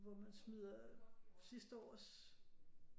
Hvor man smider sidste års